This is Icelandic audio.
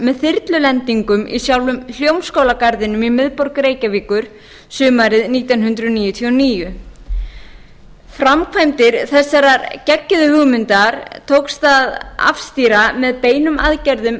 með þyrlulendingum í sjálfum hljómskálagarðinum í miðborg reykjavíkur sumarið nítján hundruð níutíu og níu framkvæmdum þessarar geggjuðu hugmyndar tókst að afstýra með beinum aðgerðum